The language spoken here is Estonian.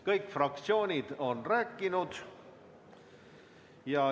Kõik fraktsioonid on rääkinud.